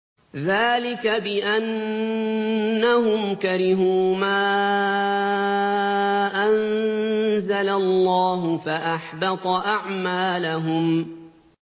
ذَٰلِكَ بِأَنَّهُمْ كَرِهُوا مَا أَنزَلَ اللَّهُ فَأَحْبَطَ أَعْمَالَهُمْ